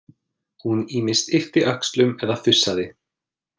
Hún ýmist yppti öxlum eða fussaði.